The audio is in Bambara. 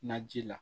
Naji la